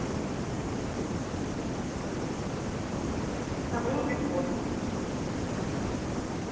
забыла пин код